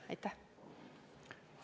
Aitäh!